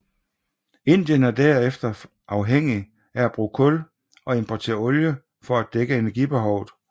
Indien er derfor afhængig af at bruge kul og importere olie for at dække energibehovet